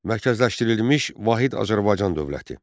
Mərkəzləşdirilmiş Vahid Azərbaycan dövləti.